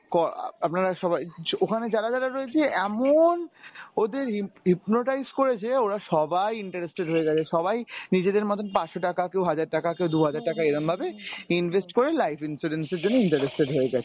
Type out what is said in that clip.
আপনারা সবাই ওখানে যারা যারা রয়েছে এমন ওদের hip~ hypnotize করেছে ওরা সবাই interested হয়ে গেছে সবাই নিজেদের মতন পাঁচশ টাকা কেউ হাজার টাকা কেউ দু’হাজার টাকা এরমভাবে invest করে life insurance এর জন্য interested হয়ে গেছে ।